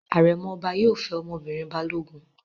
Àrẹ̀mọ ọba yóò fẹ́ ọmọbìnrin Balógun.